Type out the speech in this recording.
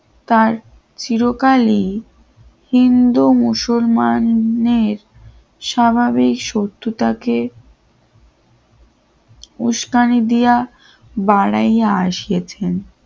তার চিরকালই হিন্দু মুসলমানদের স্বাভাবিক শত্রুতাকে উস্কানি দিয়া বাড়াইয়া এসেছেন